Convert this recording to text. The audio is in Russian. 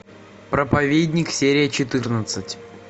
проповедник серия четырнадцать